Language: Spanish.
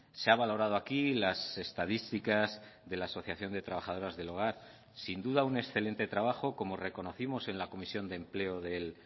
se ha valorado aquí las estadísticas de la asociación de trabajadoras del hogar sin duda un excelente trabajo como reconocimos en la comisión de empleo del